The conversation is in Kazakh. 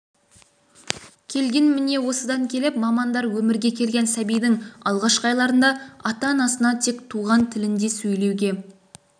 келген міне осыдан келіп мамандар өмірге келген сәбидің алғашқы айларында ата-анасына тек туған тілінде сөйлеуге